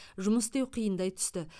жұмыс істеу қиындай түсті